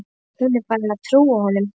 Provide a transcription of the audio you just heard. Hún er farin að trúa honum.